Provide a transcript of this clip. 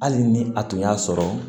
Hali ni a tun y'a sɔrɔ